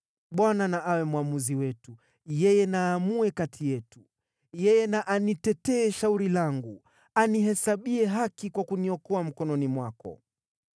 Bwana na awe mwamuzi wetu, yeye na aamue kati yetu. Yeye na anitetee shauri langu; anihesabie haki kwa kuniokoa mkononi mwako.”